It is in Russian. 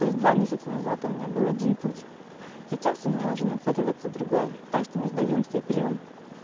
то есть два месяца назад у меня был один путь сейчас у меня уже нацеливается другой так что не сдаёмся и прём